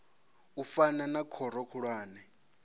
u fana na khoro khulwane